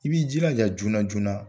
I b'i jilaja joona joona.